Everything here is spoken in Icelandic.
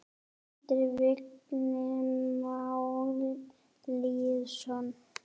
eftir Vigni Má Lýðsson